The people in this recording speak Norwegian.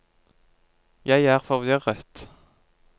jeg er forvirret